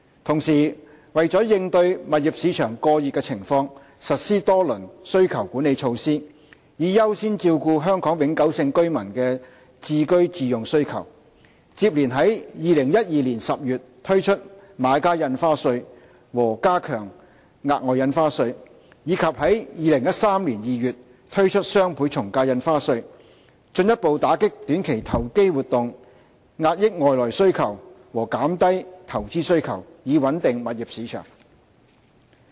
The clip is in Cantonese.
同時，為了應對物業市場過熱的情況，政府實施多輪需求管理措施，以優先照顧香港永久性居民的置居自用需求，接連於2012年10月推出買家印花稅和加強額外印花稅，以及在2013年2月推出雙倍從價印花稅，進一步打擊短期投機活動、遏抑外來需求和減低投資需求，以穩定物業市場。